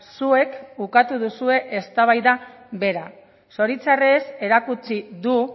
zuek ukatu duzue eztabaida bera zoritxarrez erakutsi du